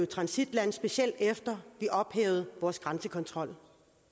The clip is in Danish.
transitland specielt efter vi ophævede vores grænsekontrol